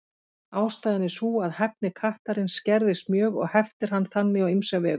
Ástæðan er sú að hæfni kattarins skerðist mjög og heftir hann þannig á ýmsa vegu.